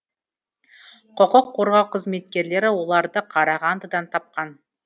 құқық қорғау қызметкерлері оларды қарағандыдан тапқан